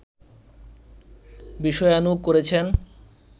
বিষয়ানুগ করেছেন